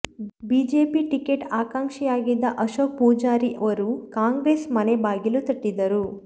BJP ticket ಆಕಾಂಕ್ಷಿಯಾಗಿದ್ದ ಅಶೋಕ್ ಪುಜಾರಿ ವರು Congress ಮನೆ ಬಾಗಿಲು ತಟ್ಟಿದ್ದರು